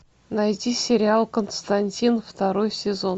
найти сериал константин второй сезон